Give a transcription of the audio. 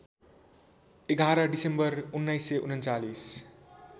११ December १९३१